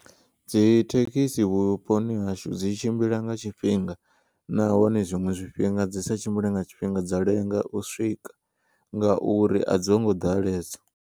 Dzithekisi vhuponi hashu dzi tshimbila nga tshifhinga nahone zwiṅwe zwifhinga dzi sa tshimbile nga tshifhinga dza lenga u swika ngauri a dzongo ḓalesa.